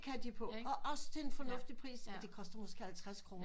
Og det kan de på og også til en formuftig pris det koster måske halvtreds kroner